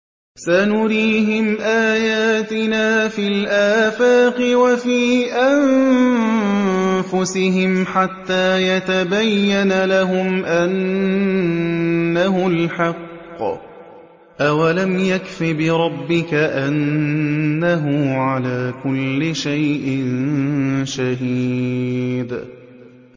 سَنُرِيهِمْ آيَاتِنَا فِي الْآفَاقِ وَفِي أَنفُسِهِمْ حَتَّىٰ يَتَبَيَّنَ لَهُمْ أَنَّهُ الْحَقُّ ۗ أَوَلَمْ يَكْفِ بِرَبِّكَ أَنَّهُ عَلَىٰ كُلِّ شَيْءٍ شَهِيدٌ